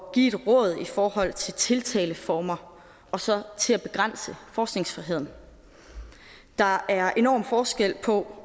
give et råd i forhold til tiltaleformer og så til at begrænse forskningsfriheden der er enorm forskel på